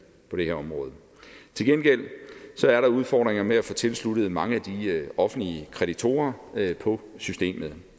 på det her område til gengæld er der udfordringer med at få tilsluttet mange af de offentlige kreditorer på systemet